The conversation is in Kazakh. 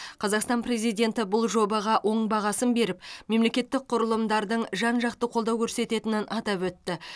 қазақстан президенті бұл жобаға оң бағасын беріп мемлекеттік құрылымдардың жан жақты қолдау көрсететінін атап өтті